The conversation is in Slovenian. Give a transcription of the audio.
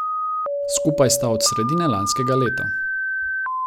Skupaj sta od sredine lanskega leta.